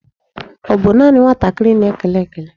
Ọ bụ naanị nwatakịrị na-ekele ekele?